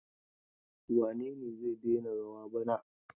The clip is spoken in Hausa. Wane ne zai daina rawa bana?